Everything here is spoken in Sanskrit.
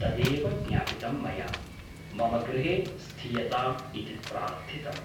तदेव ज्ञापितं मया । मम गृहे स्थीयताम् इति प्रार्थितम् ।